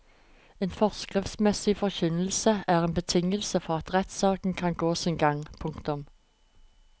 En forskriftsmessig forkynnelse er en betingelse for at rettssaken kan gå sin gang. punktum